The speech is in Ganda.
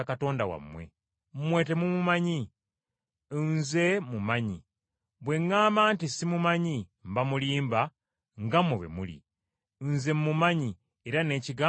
mmwe temumumanyi. Nze mmumanyi. Bwe ŋŋamba nti simumanyi mba mulimba nga mmwe bwe muli. Nze mmumanyi era n’ekigambo kye nkikuuma.